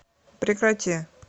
прекрати